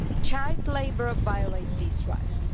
Child labour violates these rights.